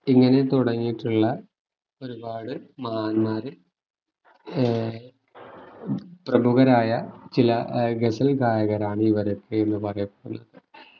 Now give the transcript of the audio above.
ഇങ്ങനെ തുടങ്ങീട്ടുള്ള ഒരുപാട് മഹാന്മാര് ഏർ പ്രമുഖരായ ചില ഗസൽ ഗായകരാണ് ഇവരൊക്കെന്ന് പറയപ്പെടുന്ന്